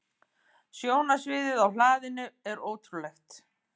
Sjónarsviðið á hlaðinu er ótrúlegt.